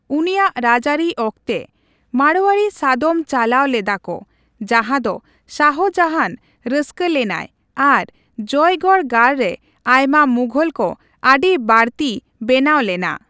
ᱩᱱᱤᱭᱟᱜ ᱨᱟᱡᱽᱟᱨᱤ ᱟᱠᱚᱛᱮ, ᱢᱟᱲᱳᱣᱟᱨᱤ ᱥᱟᱫᱚᱢ ᱪᱟᱞᱟᱣ ᱞᱮᱫᱟ ᱠᱚ, ᱡᱟᱦᱟᱫᱚ ᱥᱟᱦᱚᱡᱟᱦᱟᱱ ᱨᱟᱹᱥᱠᱟᱹ ᱞᱮᱱᱟᱭ ᱟᱨ ᱡᱚᱭᱜᱚᱲ ᱜᱟᱲ ᱨᱮ ᱟᱭᱢᱟ ᱢᱩᱜᱷᱚᱞ ᱠᱚ ᱟᱹᱰᱤ ᱵᱟᱲᱛᱤ ᱵᱮᱱᱟᱣ ᱞᱮᱱᱟ